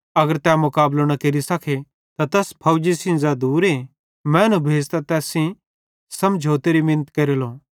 अगर तै मुकाबलो न केरि सखे त तैस फौजी सेइं ज़ै दुरे मैनू भेज़तां तैस सेइं सल्लारी मिनत केरेलो